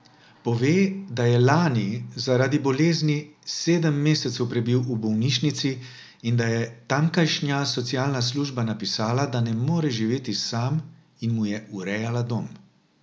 Pove, da je lani zaradi bolezni sedem mesecev prebil v bolnišnici in da je tamkajšnja socialna služba napisala, da ne more živeti sam, in mu je urejala dom.